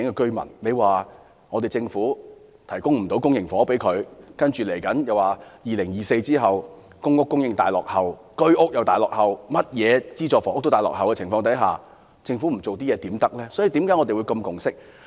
政府無法向他們提供公營房屋，然後又表示2024年後公屋和居屋供應大落後，所有資助房屋供應均大大落後於需求，那麼為何政府不做一些工作。